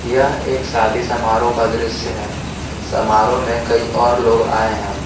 यह एक शादी समारोह का दृश्य है समारोह में कई और लोग आए हैं।